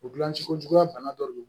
O gilan ci ko juguya bana dɔ de don